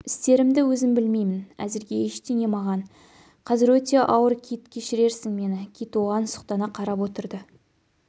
істерімді өзім білмеймін әзірге ештеңе маған қазір өте ауыр кит кешіеррсің мені кит оған сұқтана қарап отырды